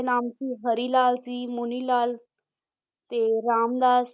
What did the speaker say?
ਨਾਮ ਸੀ ਹਰੀ ਲਾਲ ਸੀ, ਮੁਨੀ ਲਾਲ ਤੇ ਰਾਮ ਲਾਲ